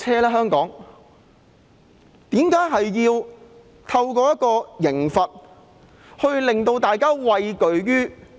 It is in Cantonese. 為何政府要透過刑罰令大家畏懼？